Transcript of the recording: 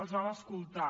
els vam escoltar